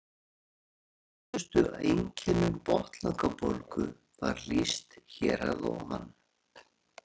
Algengustu einkennum botnlangabólgu var lýst hér að ofan.